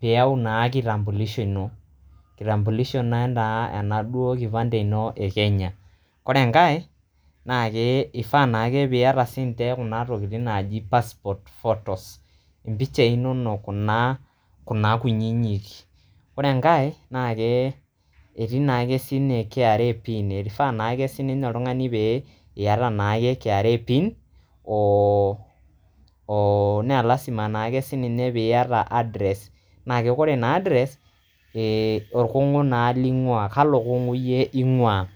piyau naa kitamulisho ino. kitambulisho naa ena duo kipante ino eKenya .ore enkae ifaa naake piata sinche piata kuna tokitin najo passport photos impichai inono kuna kuna kunyinyik .ore enkae etii naake sinye KRA pin eifaa naake oltungani pee iyata KRA pin oo oo naa lasima naake si piata address. na ke ore naa address naa orkungu naa linguaa kalo kungu naa yie ingwaa.